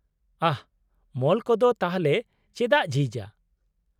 -ᱟᱦ ! ᱢᱚᱞ ᱠᱚᱫᱚ ᱛᱟᱦᱚᱞᱮ ᱪᱮᱫᱟᱜ ᱡᱷᱤᱡ ᱟ ?